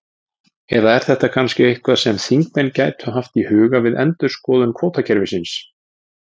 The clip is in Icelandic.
Eða er þetta kannski eitthvað sem þingmenn gætu haft í huga við endurskoðun kvótakerfisins?